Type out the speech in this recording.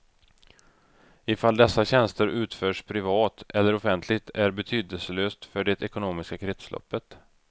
Ifall dessa tjänster utförs privat eller offentligt är betydelselöst för det ekonomiska kretsloppet.